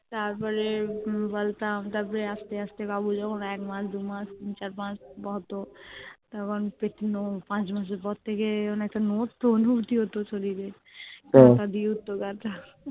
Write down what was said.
তারপরে বলতাম তারপরে আস্তে আস্তে বাবু যখন একমাস দুমাস তিন চারমাস হতো তখন পেটানো পাঁচমাস এর পর থেকে কেমন একটা নড়তো অনুভূতি হতো শরীরে কাঁটা দিয়ে উঠতো গা টা